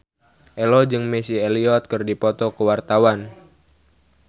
Ello jeung Missy Elliott keur dipoto ku wartawan